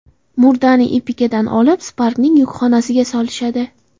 Murdani Epica’dan olib, Spark’ning yukxonasiga solishadi.